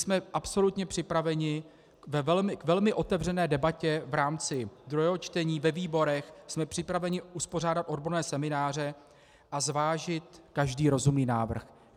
Jsme absolutně připraveni ve velmi otevřené debatě v rámci druhého čtení ve výborech, jsme připraveni pořádat odborné semináře a zvážit každý rozumný návrh.